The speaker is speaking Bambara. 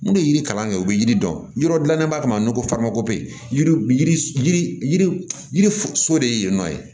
N'u ye yiri kalan kɛ u bɛ yiri dɔn yɔrɔ dilan ko faama ko yiri yiri so de ye yen nɔ ye